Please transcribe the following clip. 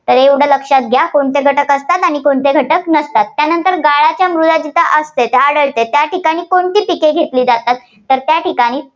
तर एवढं लक्षात घ्या. कोणते घटक असतात आणि कोणते घटक नसतात. त्यानंतर गाळाच्या मृदा जिथं असतात, आढळते त्या ठिकाणी कोणती पिकं घेतली जातात, तर त्या ठिकाणी